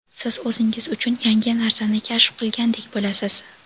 siz o‘zingiz uchun yangi narsani kashf qilgandek bo‘lasiz.